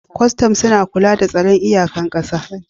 Kwastom suna kula da tsaron iyakan ƙasa